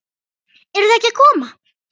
Eruð þið ekki að koma?